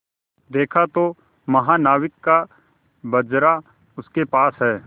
देखा तो महानाविक का बजरा उसके पास है